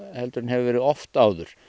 heldur en hefur verið oft áður